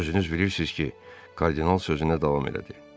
Özünüz bilirsiz ki, kardinal sözünə davam elədi.